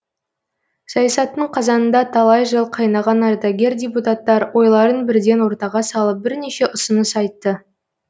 саясаттың қазанында талай жыл қайнаған ардагер депутаттар ойларын бірден ортаға салып бірнеше ұсыныс айтты